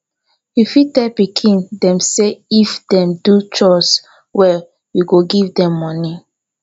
you fit tell pikin dem sey if dem do chores well you go give dem money